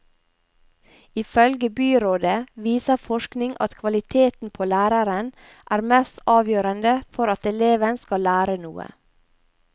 Ifølge byrådet viser forskning at kvaliteten på læreren er mest avgjørende for at eleven skal lære noe.